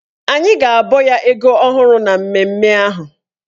Anyị ga-abọ ya ego ọhụrụ na mmemme ahụ.